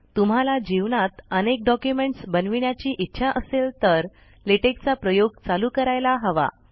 तुम्हाला जीवनात अनेक डॉक्युमेंट्स बनविण्याची इच्छा असेल तर लेटेक चा प्रयोग चालू करायला हवा